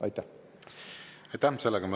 Aitäh!